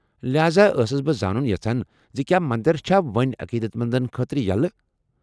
لہاذا ٲسٕس بہٕ زانُن یژھان ز کیٛاہ مندر چھا وۄنہِ عقیدت مندن خٲطرٕ یلہٕ ۔